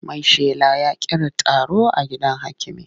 Maishela ya kira taro a gidan hakimi.